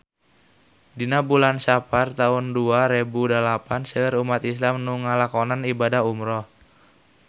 Dina bulan Sapar taun dua rebu dalapan seueur umat islam nu ngalakonan ibadah umrah